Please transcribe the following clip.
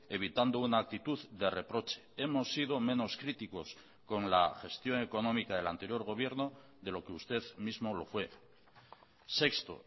evitando una actitud de reproche hemos sido menos críticos con la gestión económica del anterior gobierno de lo que usted mismo lo fue sexto